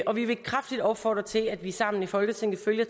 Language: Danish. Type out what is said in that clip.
og vi vil kraftigt opfordre til at vi sammen i folketinget følger